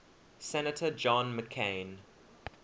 senator john mccain